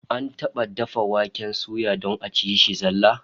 An taba dafa dafa waken suya don a ci shi zallah?